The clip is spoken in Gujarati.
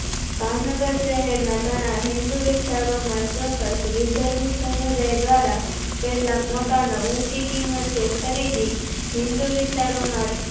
ભાવનગર શહેરના ઘણા હિન્દૂ વિસ્તરોમાં ચોક્સ વિધર્મી સમુદાય દ્વારા કેટલાક મકાનો ઉંચી કિંમતે ખરીદી હિન્દૂ વિસ્તારોમાં